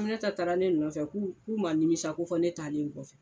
Aminata taara ne nɔfɛ k'u k'u ma nimisa ko fɔ ne taalen kɔfɛ.